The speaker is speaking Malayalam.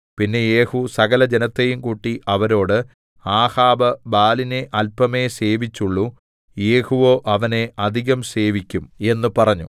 പിന്നെ യേഹൂ സകലജനത്തെയും കൂട്ടി അവരോട് ആഹാബ് ബാലിനെ അല്പമേ സേവിച്ചുള്ളു യേഹൂവോ അവനെ അധികം സേവിക്കും എന്ന് പറഞ്ഞു